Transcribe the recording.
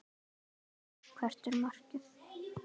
Hafþór: Hvert er markið?